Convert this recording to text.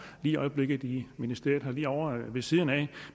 i øjeblikket i ministeriet herovre ved siden af